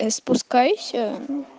спускайся